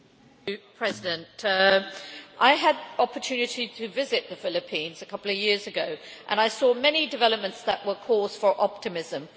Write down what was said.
Mr President, I had the opportunity to visit the Philippines a couple of years ago and I saw many developments that were cause for optimism.